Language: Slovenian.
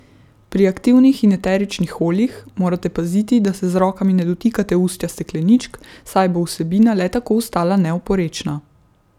Pri aktivnih in eteričnih oljih morate paziti, da se z rokami ne dotikate ustja stekleničk, saj bo vsebina le tako ostala neoporečna.